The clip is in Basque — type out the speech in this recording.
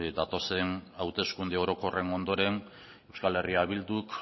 datozen hauteskunde orokorren ondoren euskal herria bilduk